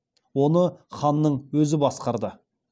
оны ханның өзі басқарды